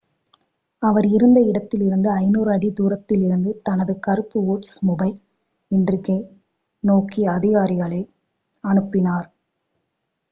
அவர் இருந்த இடத்திலிருந்து 500 அடி தூரத்தில் இருந்த தனது கருப்பு ஓல்ட்ஸ்மொபைல் இண்ட்ரிக்கை நோக்கி அதிகாரிகளை அனுப்பினார்